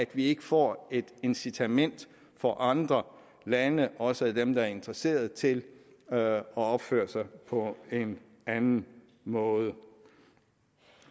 vi ikke får et incitament for andre lande også dem der er interesserede til at opføre sig på en anden måde